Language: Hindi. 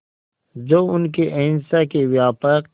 जो उनके अहिंसा के व्यापक